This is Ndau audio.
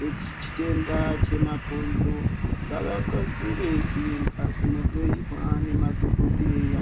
rechitenda chemabhonzoo ngavakasire kuenda kunohloyiwa nemadhokoteya.